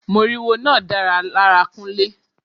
Moriwo náà dára lára Kunle.